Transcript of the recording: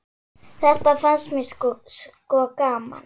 Þetta fannst mér sko gaman.